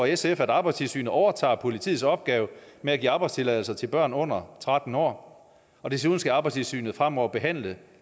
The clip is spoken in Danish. sf at arbejdstilsynet overtager politiets opgave med at give arbejdstilladelser til børn under tretten år og desuden skal arbejdstilsynet fremover behandle